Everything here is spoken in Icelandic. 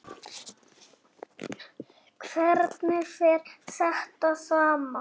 Hvernig fer þetta saman?